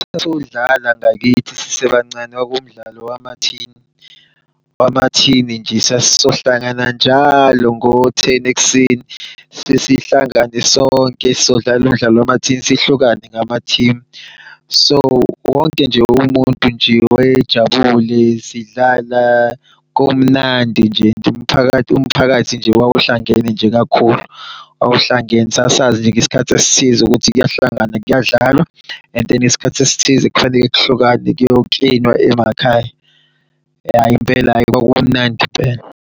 Sokudlala ngakithi sisebancane kwakuwumdlalo wamathini, wamathini nje sasizohlangana njalo ngo-ten ekuseni sesihlangane sonke sodlala umdlalo wamathini, sihlukane ngama-team. So wonke nje umuntu nje wayejabule sidlala kumnandi nje and umphakathi wawuhlangene nje kakhulu wawuhlangene sasazi nje ngesikhathi esithize ukuthi kuyahlanganwa kuyadlalwa and then ngesikhathi esithize kufanele kuhlukwane kuyo-clean-nwa emakhaya. Hhayi impela kwakumnandi impela.